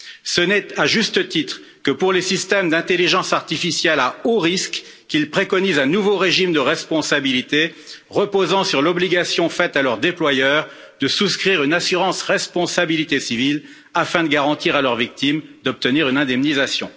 Ce n'est, à juste titre, que pour les systèmes d'intelligence artificielle à haut risque qu'il préconise un nouveau régime de responsabilité reposant sur l'obligation faite à leur déployeur de souscrire une assurance responsabilité civile, afin de garantir à leurs victimes d'obtenir une indemnisation.